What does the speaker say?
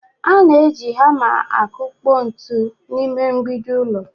A na-eji hama akpụkpọ ntu n’ime mgbidi ụlọ